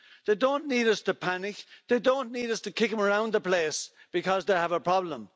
They don't need us to panic, they don't need us to kick them around the place because they have a problem.